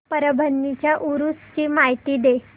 परभणी च्या उरूस ची माहिती दे